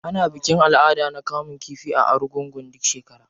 Ana bikin al'ada na kamun kifi a argungu duk shekara.